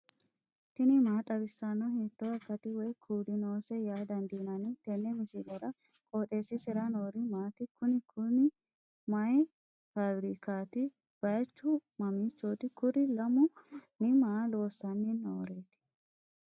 tini maa xawissanno ? hiitto akati woy kuuli noose yaa dandiinanni tenne misilera? qooxeessisera noori maati? kuni kuni mayi fafirikaati baychu mamiichooti kuri lamu manni maa loossanni nooreti